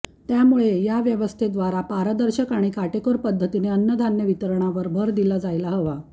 त्यामुळे या व्यवस्थेद्वारे पारदर्शक आणि काटेकोर पद्धतीने अन्नधान्य वितरणावर भर दिला जायला हवा